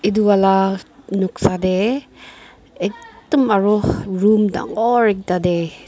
edu wala noksa tae ekdum aro room dangor ekta tae--